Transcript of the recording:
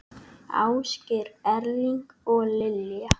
Ásgeir Erling og Lilja.